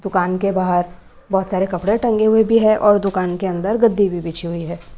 दुकान के बाहर बहोत सारे कपड़े टंगे हुए भी है और दुकान के अंदर गद्दी भी बिछी हुई है।